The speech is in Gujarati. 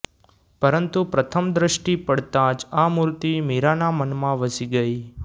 પરંતુ પ્રથમ દ્રષ્ટિ પડતાં જ આ મૂર્તિ મીરાંના મનમાં વસી ગઈ